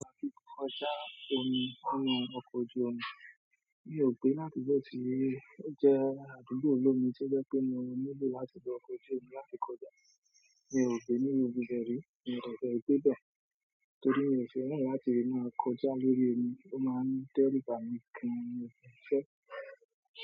Láti kọjá omi nínú ọkọ̀ ojú omi, mi ò gbe l'adugbo ti o jẹ̀ àdúgbò olómi ti o jẹ pé mo nílò láti gbé ọkọ̀ ojú omi láti kọjá. Mi ò gbe niru ibibẹ rí, mio dẹ́ gbe bẹ́. Torí mi ò fẹ́ràn láti máa kọjá lórí omi, ó máa ń dẹru bami gan-an ni ìrìnsẹ́.